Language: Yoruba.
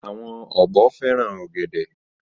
Àwọn ọ̀bọ fẹ́ràn ọ̀gẹ̀dẹ̀.